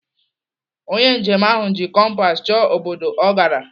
Onye njem ahụ ji kompas chọọ obodo ọ gara.